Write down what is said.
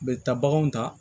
N bɛ taa baganw ta